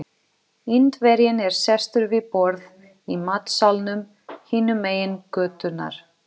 Indverjinn er sestur við borð í matsalnum hinum megin götunnar.